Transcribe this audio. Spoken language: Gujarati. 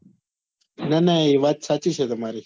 ના ના એ વાત સાચી છે તમારી